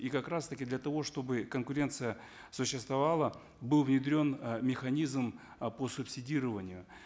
и как раз таки для того чтобы конкуренция существовала был внедрен э механизм э по субсидированию